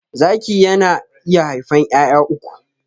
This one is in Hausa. Zaki yana iya haifan 'ya'ya uku.